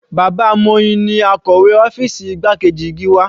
Bàbá Moyin ni akọ̀wé ọ́fìsì igbákejì Gíwá.